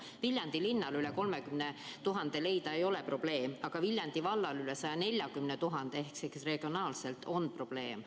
Viljandi linnale ei ole umbes 30 000 euro leidmine probleem, küll aga on Viljandi vallale 140 000 euro leidmine probleem.